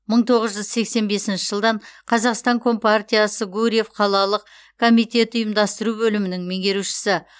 мың тоғыз жүз сексен бесінші жылдан қазақстан компартиясы гурьев қалалық комитеті ұйымдастыру бөлімінің меңгерушісі